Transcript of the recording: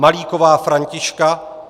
Malíková Františka